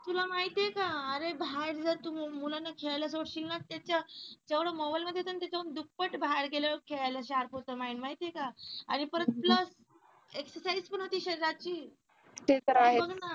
तुला माहिती आहे का अरे बाहेर जा तू मुलांना खेळायला सोडशील ना त्याच्या एवढा मोबाईल मध्ये त्याच्या दुप्पट बाहेर गेल्यावर खेळायला sharp होत mind माहिती आहे का आणि परत plus exercise पण होते शरीराची